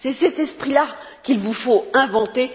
C'est cet esprit là qu'il vous faut inventer.